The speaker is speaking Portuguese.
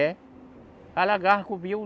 É. Alagava, cobria o...